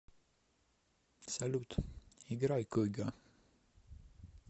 салют играй куго